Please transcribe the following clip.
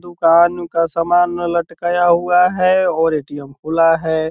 दुकान का समान लटकाया हुआ है और ए.टी.एम. खुला है।